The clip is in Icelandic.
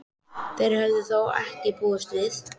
Þessu höfðu þeir þó ekki búist við.